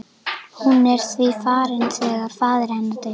Hún er því farin þegar faðir hennar deyr.